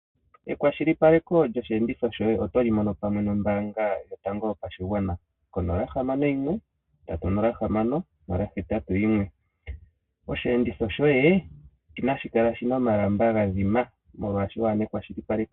Ekwashilipaleko lyosheenditho shoye oto li mono pamwe nombaanga yotango yo pashigwana, ko 061 306 081, osheenditho shoye inashi kala shina omalamba ga dhina, molwaasho waana ekwashilipaleko.